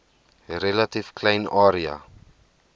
relatief klein area